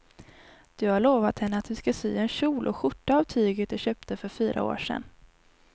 Du har lovat henne att du ska sy en kjol och skjorta av tyget du köpte för fyra år sedan.